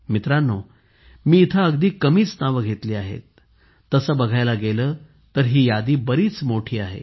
मित्रांनो मी इथे अगदी कमीच नावे घेतली आहेत तसे बघायला गेले तर ही यादी बरीच मोठी आहे